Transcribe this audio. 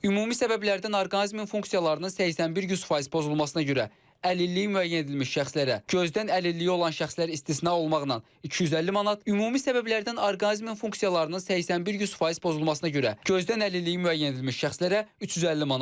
Ümumi səbəblərdən orqanizmin funksiyalarının 81-100% pozulmasına görə gözdən əlilliyi olan şəxslər istisna olmaqla 250 manat, ümumi səbəblərdən orqanizmin funksiyalarının 81-100% pozulmasına görə gözdən əlilliyi müəyyən edilmiş şəxslərə 350 manat.